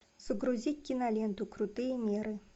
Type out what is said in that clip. загрузить киноленту крутые меры